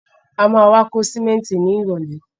A má wá kó sìmẹ́ntì ni ìrọ̀lẹ́.